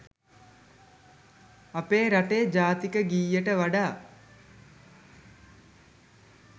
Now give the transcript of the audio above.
අපේ රටේ ජාතික ගීයට වඩා